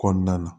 Kɔnɔna na